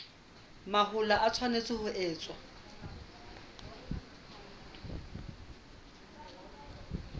mahola e tshwanetse ho etswa